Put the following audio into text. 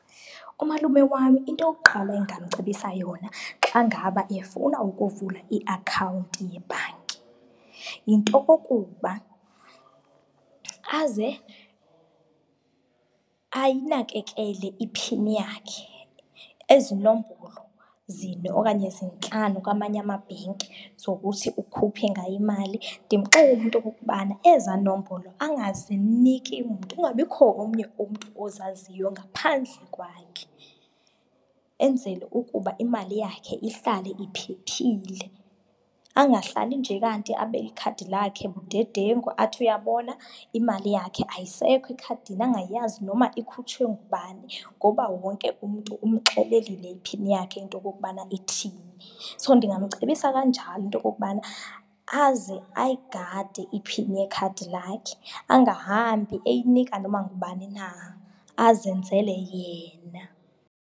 Umalume wami, into yokuqala endingamcebisa yona xa ngaba efuna ukuvula iakhawunti yebhanki yinto yokokuba aze ayinakekele iphini yakhe, ezi nombolo zine okanye zintlanu kwamanye amabhenki zokuthi ukhuphe ngayo imali. Ndimxelele into yokokubana ezaa nombolo angaziniki mntu, kungabikho omnye umntu ozaziyo ngaphandle kwakhe enzele ukuba imali yakhe ihlale iphephile. Angahlali nje kanti abe ikhadi lakhe udedengu, athi uyabona imali yakhe ayisekho ekhadini angayazi noma ikhutshwe ngubani ngoba wonke umntu umxelelile iphini yakhe into yokokubana ithini. So, ndingamcebisa kanjalo into yokubana, aze ayigade iphini yekhadi lakhe angahambi eyinika noma ngubani na, azenzele yena.